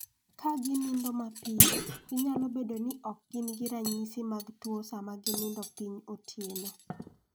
Ka gi nindo mapiyo, ginyalo bedo ni ok gin gi ranyisi mag tuo sama gi nindo piny otieno.